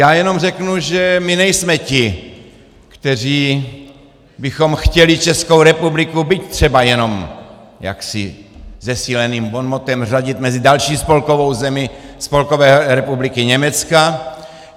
Já jenom řeknu, že my nejsme ti, kteří bychom chtěli Českou republiku, byť třeba jenom jaksi zesíleným bonmotem, řadit mezi další spolkovou zemi Spolkové republiky Německa.